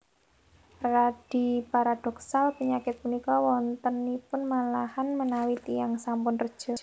Radi paradhoksal panyakit punika wontenipun malahan menawi tiyang sampun reja